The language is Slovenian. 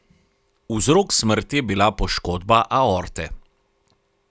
Vzrok smrti je bila poškodba aorte.